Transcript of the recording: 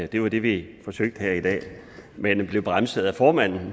det var det vi forsøgte her i dag men vi blev bremset af formanden